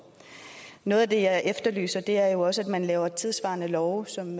noget af det jeg efterlyser er jo også at man laver tidssvarende love som